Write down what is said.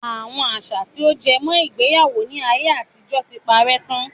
Àwọn àṣà tí ó jẹ mọ́ ìgbéyàwó ni ayé àtijọ́ tí parè tán.